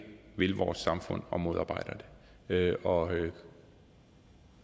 vil vores samfund og modarbejder det og